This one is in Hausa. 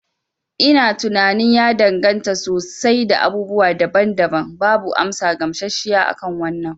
Ina tunanin ya danganta sosai da abubuwa daban daban. Babu amsa gamshashshiya akan wannan